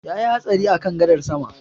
Yayi hatsari a kan gadar sama